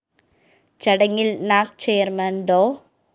ചടങ്ങില്‍ NAAC chairman ഡോ